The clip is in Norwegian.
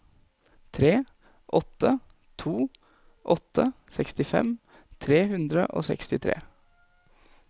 tre åtte to åtte sekstifem tre hundre og sekstitre